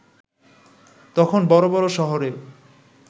তখন বড় বড় শহরেও